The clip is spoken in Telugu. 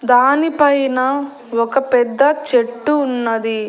దానిపైన ఒక పెద్ద చెట్టు ఉన్నది.